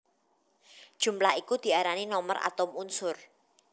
Jumlah iku diarani nomer atom unsur